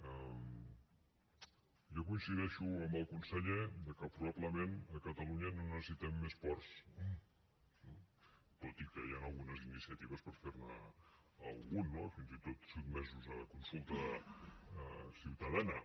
jo coincideixo amb el conseller que probablement a catalunya no necessitem més ports tot i que hi han algunes iniciatives per fer ne algun no i fins i tot sotmesos a consulta ciutadana